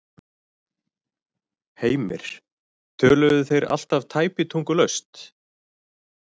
Heimir: Töluðu þeir alltaf tæpitungulaust?